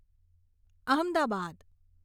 Ahmedabad